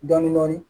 Dɔɔnin dɔɔnin